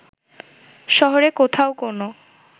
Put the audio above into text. শহরের কোথাও কোনো